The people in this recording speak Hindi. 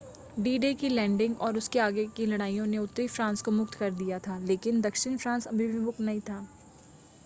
डी-डे की लैंडिंग और उसके आगे की लड़ाइयों ने उत्तरी फ्रांस को मुक्त कर दिया था लेकिन दक्षिण फ्रांस अभी भी मुक्त नहीं था